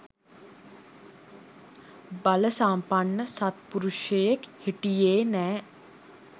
බලසම්පන්න සත්පුරුෂයෙක් හිටියේ නෑ